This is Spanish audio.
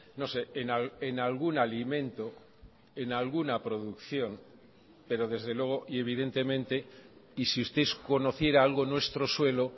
no sé en algún alimento en alguna producción pero desde luego y evidentemente y si usted conociera algo nuestro suelo